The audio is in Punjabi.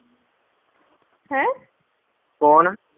ਕੌਣ?